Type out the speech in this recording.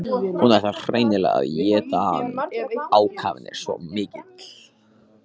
Hún ætlar hreinlega að éta hann, ákafinn er svo mikill.